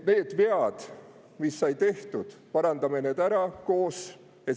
Need vead, mis said tehtud, parandame koos ära!